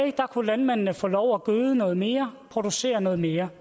kunne landmændene få lov at gøde noget mere og producere noget mere